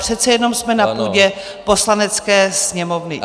Přece jenom jsme na půdě Poslanecké sněmovny.